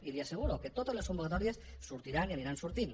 i li asseguro que totes les convocatòries sortiran i aniran sortint